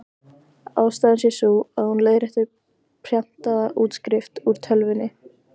Ástæðan sé sú, að hún leiðrétti prentaða útskrift úr tölvunni.